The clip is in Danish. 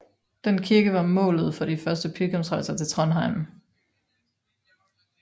Den kirke var målet for de første pilgrimsrejser til Trondheim